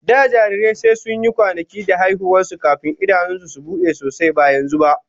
Da jarirai sai sun yi kwanaki da haihuwa kafin idanun su su bude sosai, ba yanzu ba.